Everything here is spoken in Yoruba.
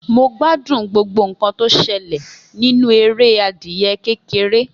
Mo gbádùn gbogbo nkan tó ṣẹlẹ̀ nínú eré adìẹ kékeré